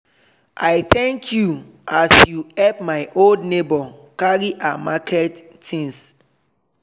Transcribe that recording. i thank you as you help my old neighbour carry her market things.